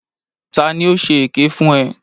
Ta ni ó ṣe èké fún ẹ?